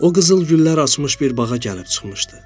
O qızıl güllər açmış bir bağa gəlib çıxmışdı.